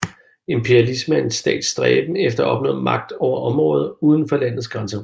Imperialisme er en stats stræben efter at opnå magt over områder uden for landets grænser